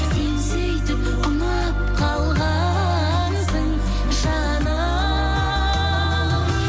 сен сөйтіп ұнап қалғансың жаным